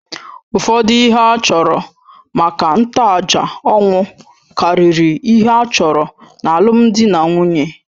Ụfọdụ ihe a chọrọ maka ntoaja ọnwụ karịrị ihe a chọrọ n’alụmdi na nwunye.